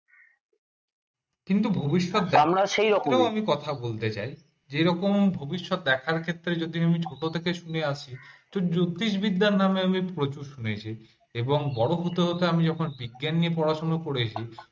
কিন্তু ভবিষ্যৎ জানবার আমি একটা কথা বলতে চাই ভবিষ্যৎ দেখার ক্ষেত্রে যদি আমি ছোট থেকে শুনে আসছি জ্যোতিষবিদ্যার নামে এবং বড় হতে হতে আমি যখন বিজ্ঞান নিয়ে পড়াশুনা করেছি